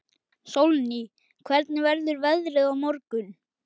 Sólný, hvernig verður veðrið á morgun?